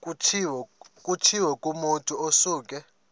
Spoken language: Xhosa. kutshiwo kumotu osuke